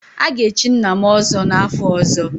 A ga-echi nna m ọzọ n'afọ ọzọ